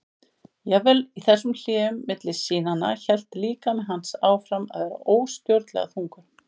Jafnvel í þessum hléum milli sýnanna hélt líkami hans áfram að vera óstjórnlega þungur.